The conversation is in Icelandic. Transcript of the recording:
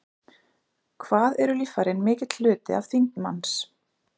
Hvað eru líffærin mikill hluti af þyngd manns?